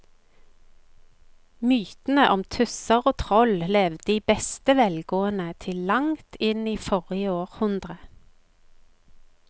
Mytene om tusser og troll levde i beste velgående til langt inn i forrige århundre.